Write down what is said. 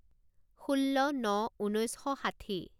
ষোল্ল ন ঊনৈছ শ ষাঠি